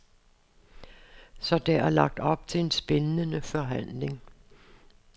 Så der er lagt op til en spændende forhandling.